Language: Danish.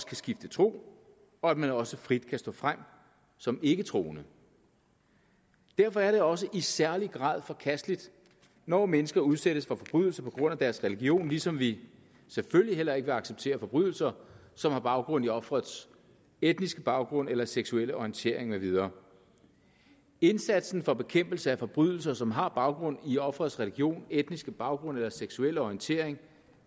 kan skifte tro og at man også frit kan stå frem som ikketroende derfor er det også i særlig grad forkasteligt når mennesker udsættes for forbrydelser på grund af deres religion ligesom vi selvfølgelig heller ikke vil acceptere forbrydelser som har baggrund i ofrets etniske baggrund eller seksuelle orientering med videre indsatsen for bekæmpelse af forbrydelser som har baggrund i offerets religion etniske baggrund eller seksuelle orientering